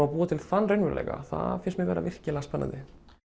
að búa til þann raunveruleika það finnst mér vera virkilega spennandi